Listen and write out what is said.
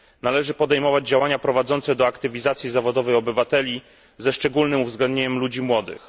Należy podejmować działania prowadzące do aktywizacji zawodowej obywateli, ze szczególnym uwzględnieniem ludzi młodych.